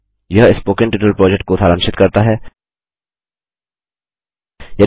httpspoken tutorialorgWhat is a Spoken Tutorial यह spoken tutorial project को सारांशित करता है